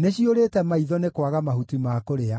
nĩciũrĩte maitho nĩ kwaga mahuti ma kũrĩa.”